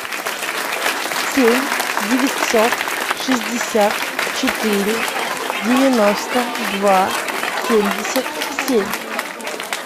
семь девятьсот шестьдесят четыре девяносто два семьдесят семь